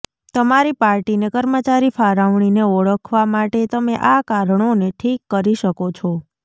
તમારી પાર્ટીને કર્મચારી ફાળવણીને ઓળખવા માટે તમે આ કારણોને ઠીક કરી શકો છો